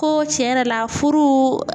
Ko tiɲɛ yɛrɛ la furu